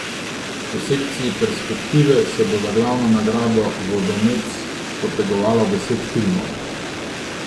V sekciji Perspektive se bo za glavno nagrado vodomec potegovalo deset filmov.